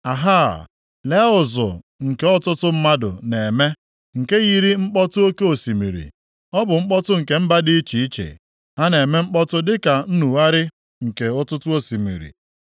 Ahaa, lee ụzụ nke ọtụtụ mmadụ na-eme, nke yiri mkpọtụ oke osimiri. Ọ bụ mkpọtụ nke mba dị iche iche; ha na-eme mkpọtụ dị ka nnugharị nke ọtụtụ osimiri.